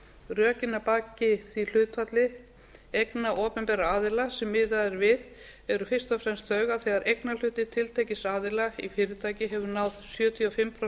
rökin að baki því hlutfalli eigna opinberra aðila sem miðað er við eru fyrst og fremst þau að þegar eignarhluti tiltekins aðila í fyrirtæki hefur náð sjötíu og fimm prósent